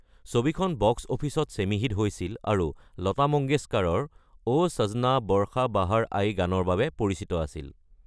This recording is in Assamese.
ছবিখন বক্স অফিচত ছেমি হিট হৈছিল আৰু লতা মঙ্গেশকাৰৰ অ’ ছজনা বৰ্ষা বাহাৰ আই গানৰ বাবে পৰিচিত আছিল।